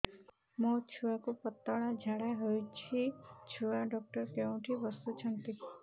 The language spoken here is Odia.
ମୋ ଛୁଆକୁ ପତଳା ଝାଡ଼ା ହେଉଛି ଛୁଆ ଡକ୍ଟର କେଉଁଠି ବସୁଛନ୍ତି